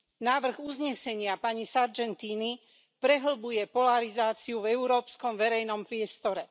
Návrh uznesenia pani Sargentini prehlbuje polarizáciu v európskom verejnom priestore.